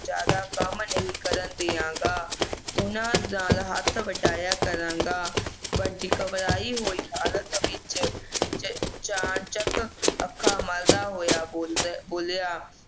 ਜ਼ਿਆਦਾ ਕੰਮ ਨਹੀਂ ਕਰਨ ਦੇਵਾਂਗਾ ਉਨ੍ਹਾਂ ਦਾ ਹੱਥ ਵਟਾਇਆ ਕਰਾਂਗਾ ਬੰਟੀ ਘਬਰਾਈ ਹੋਈ ਹਾਲਤ ਦੇ ਵਿੱਚ ਅਚਾਨ ਚੱਕ ਅੱਖਾਂ ਮਲਦਾ ਹੋਇਆ ਬੋਲਬੋਲਿਆ